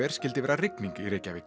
skyldi vera rigning í Reykjavík